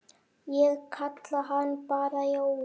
Ég kalla hann bara Jóa.